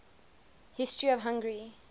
history of hungary